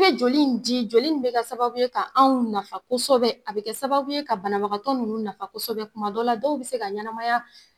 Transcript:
Ye joli in di joli in be kɛ sababu ye ka anw nafa kosɛbɛ, a bɛ kɛ sababu ye ka banabagatɔ nunnu nafa kɔsɛbɛ. Tuma dɔw la dɔw bi se ka ɲɛnamaya